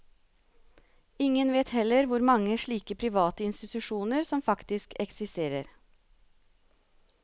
Ingen vet heller hvor mange slike private institusjoner som faktisk eksisterer.